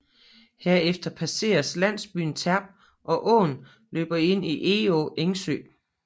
Herefter passeres landsbyen Terp og åen løber ind i Egå Engsø